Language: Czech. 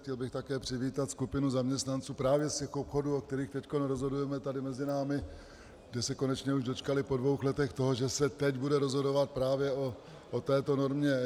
Chtěl bych také přivítat skupinu zaměstnanců právě z těch obchodů, o kterých teď rozhodujeme, tady mezi námi, kdy se konečně už dočkali po dvou letech toho, že se teď bude rozhodovat právě o této normě.